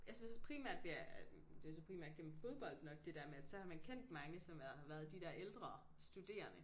Jeg synes også primært det er det så primært gennem fodbold nok det der med at så har man kendt mange som været har været de der ældre studerende